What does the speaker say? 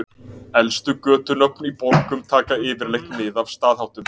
Elstu götunöfn í borgum taka yfirleitt mið af staðháttum.